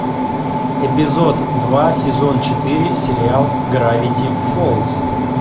эпизод два сезон четыре сериал гравити фолз